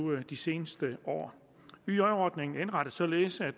de seneste år yj ordningen er indrettet således at